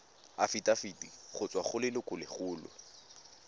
afitafiti go tswa go lelokolegolo